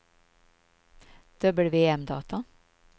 WM-data